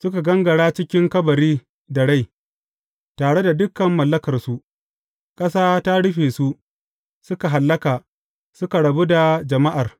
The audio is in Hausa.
Suka gangara cikin kabari da rai, tare dukan mallakarsu; ƙasa ta rufe su, suka hallaka, suka rabu da jama’ar.